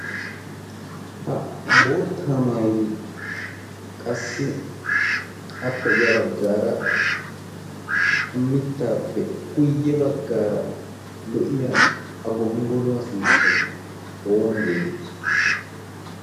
ha boottaa mairi qassi appe ya baggaara mittaappe guyye baggaara lo7iya gonggoluwaa sunttai oona geetetti?